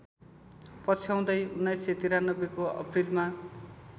पछ्याउँदै १९९३ को अप्रिलमा